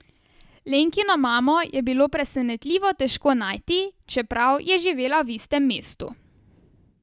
Lenkino mamo je bilo presenetljivo težko najti, čeprav je živela v istem mestu.